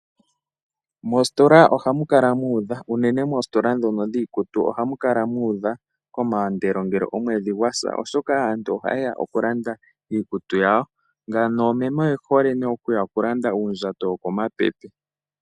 Mositola ohamu kala muudha unene moositola dhono dhiikutu ohamu kala mu udha komaandelo ngele omwedhi gwa sa oshoka aantu oha ye ya oku landa iikutu yawo ngano noomeme oye hole oku ya oku landa uundjato wo ko mapepe.